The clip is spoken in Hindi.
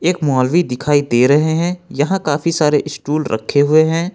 एक मौलवी दिखाई दे रहे है यहां काफी सारे स्टूल रखे हुए है।